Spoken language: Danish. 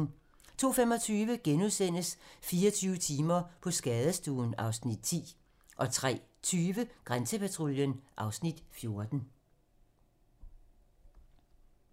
02:25: 24 timer på skadestuen (Afs. 10)* 03:20: Grænsepatruljen (Afs. 14)